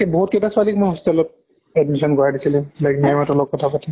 বহুত কেইটা ছোৱালীক কই hostel ত admission কৰাই দিছিলো like ma'am হঁতৰ লগত কথা পাতি।